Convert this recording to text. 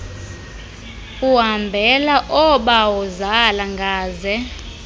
uhambela oobawozala ngaze